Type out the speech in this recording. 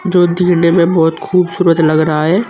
जो दिखने में बहोत खूबसूरत लग रहा है।